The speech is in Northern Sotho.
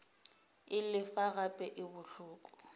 e lefa gape e bohloko